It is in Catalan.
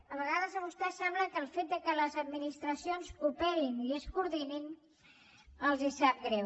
a vegades a vostès sembla que el fet que les administracions cooperin i es coordinin els sap greu